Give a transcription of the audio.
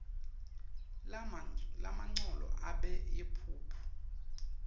lamagcolo abe yimphuphu